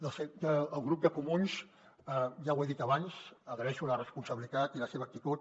del grup de comuns ja ho he dit abans agraeixo la responsabilitat i la seva actitud